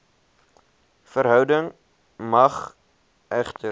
verhouding mag egter